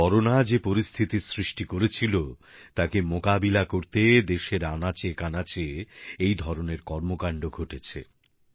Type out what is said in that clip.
corona যে পরিস্থিতির সৃষ্টি করেছিল তাকে মোকাবিলা করতে দেশের আনাচেকানাচে এধরনের কর্মকান্ড ঘটেছে